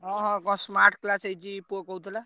ହଁ ହଁ କଣ smart class ହେଇଛି ପୁଅ କହୁଥିଲା।